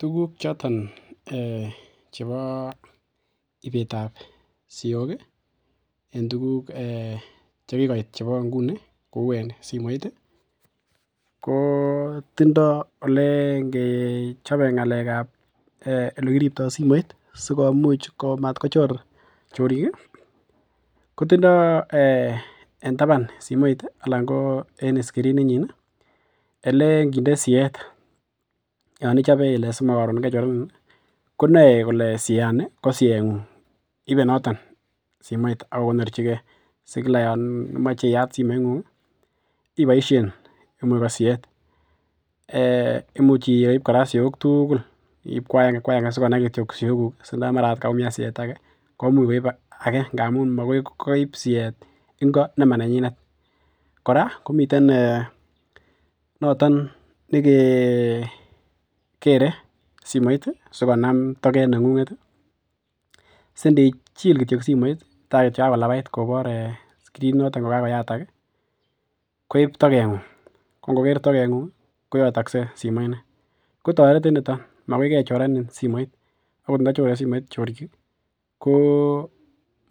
Tuguk choton chebo ibetab siok chekikoit inguni ih , ko tindoo olenkechobe olekiribto simoit simatkochir chorik ih , kotindo en taban simoit anan en skreenit nyin ih , kotindo olenkinde siet, simakochorenin ih ko konae kole siat ni ko siet ng'ung, ibe noton simoit akokonorchige si Yoon imache iat simoit ng'ung ih iboisien imuch ko siet anan imuchi iib siok tugul koaenge, sikonai kityo siok gug Yoon kaumian siet agenge komuch koib age ngamun magoi koib siet ingo nemanenyin kora komiten noton nekekeren simoit sigonam toket neng'ung'et ih sindichil kityo simoit yaan kakoyatak ih koib toget ng'ung magoi kechorenin simoit agot nda chore simoit chorik ih ko